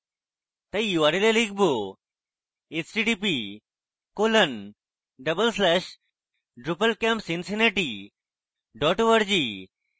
তাই url এ লিখব